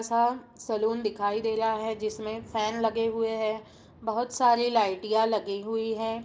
ऐसा सलून दिखाई दे रहा है जिसमे फैन लगे हुए हैं बहुत सारे लाइटिया लगी हुई है।